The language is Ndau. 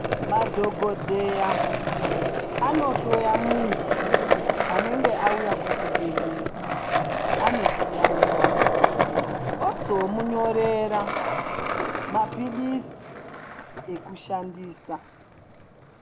Madhogodheya anohloya muntu anenge auya kuchibhedhlera anechiyaiyo, ozomunyorera maphilizi ekushandisa.